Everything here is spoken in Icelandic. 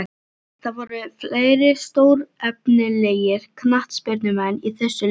Það voru fleiri stórefnilegir knattspyrnumenn í þessu liði.